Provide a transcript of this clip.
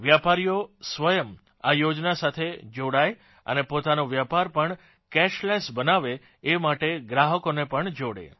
વેપારીઓ સ્વયં આ યોજના સાથે જોડાય અને પોતાનો વેપાર પણ કેશલેસ બનાવે એ માટે ગ્રાહકોને પણ જોડે